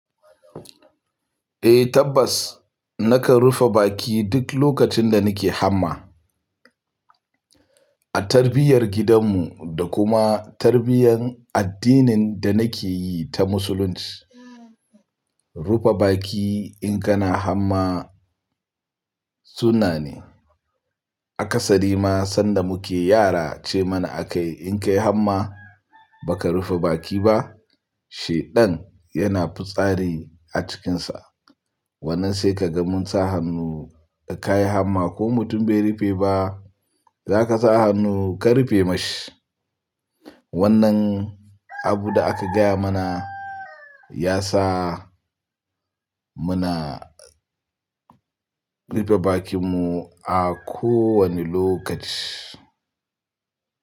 Eh tabbas, nakan rufe baki duk lokacin da nike hamma. A tarbiyyar gidan mu da kuma tarbiyyar addinin da nake yi ta musulunci, rufe baki in kana hamma sunna ne. Akasari ma sanda muke yara ce mana a kayi, in ka yi hamma ba ka rufe baki ba, shaiɗan yana fitsari a cikinsa. Wannan sai kaga mun sa hannu da ka yi hamma ko mutum bai rufe ba, za ka sa hannu ka rufe mashi. Wannan abu da aka gaya mana ya sa muna rufe bakin mu a kowane lokaci.